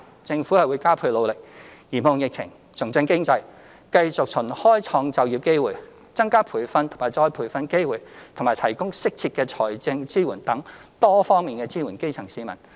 政府會加倍努力嚴控疫情，重振經濟，繼續循開創就業機會、增加培訓及再培訓機會和提供適切的財政支援等多方面支援基層市民。